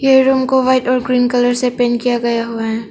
ये रूम को व्हाइट और ग्रीन कलर से पेन किया गया हुआ है।